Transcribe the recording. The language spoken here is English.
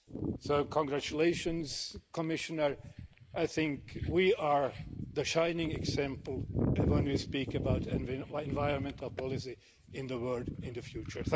So congratulations, Commissioner, I think we are the shining example when we speak about environmental policy in the world in the future.